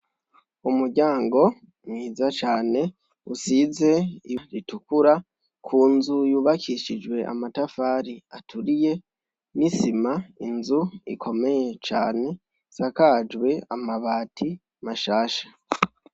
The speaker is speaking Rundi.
Umuryango mwiza cane usize itukura, ku nzu yubakishijwe amatafari aturiye, n'isima, inzu ikomeye cane isakajwe amabati bashasha.